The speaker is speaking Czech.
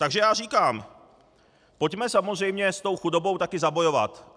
Takže já říkám, pojďme samozřejmě s tou chudobou taky zabojovat!